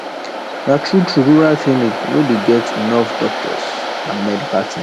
na true true rural clinic no dey get enough doctors and medical things